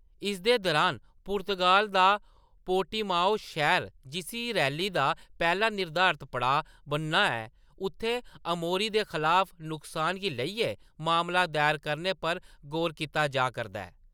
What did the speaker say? इसदे दौरान, पुर्तगाल दा पोर्टिमाओ शैह्‌र जिसी रैली दा पैह्‌‌ला निर्धारत पड़ांऽ बनना ऐ, उत्थै अमौरी दे खलाफ नुकसान गी लेइयै मामला दायर करने पर गौर कीता जा करदा ऐ।